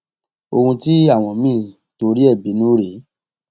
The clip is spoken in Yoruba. ohun tí àwọn míín torí ẹ bínú rèé